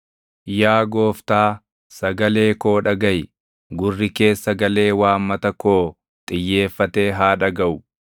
yaa Gooftaa, sagalee koo dhagaʼi. Gurri kees sagalee waammata koo xiyyeeffatee haa dhagaʼu.